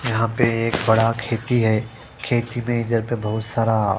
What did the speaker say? यहाँ पर एक बड़ा खेती है खेत जी में बहोत सारा--